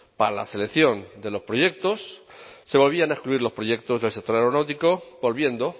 para la selección de los proyectos se volvían a excluir los proyectos del sector aeronáutico volviendo